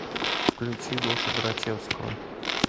включи гошу грачевского